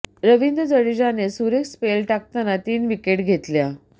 रवींद्र जडेजाने सुरेख स्पेल टाकताना तीन विकेट घेतल्या